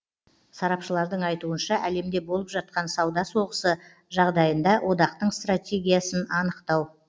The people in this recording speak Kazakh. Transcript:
сарапшылардың айтуынша әлемде болып жатқан сауда соғысы жағдайында одақтың стратегиясын анықтау